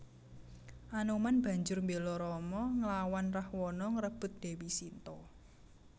Anoman banjur mbéla Rama nglawan Rahwana ngrebut Dèwi Sinta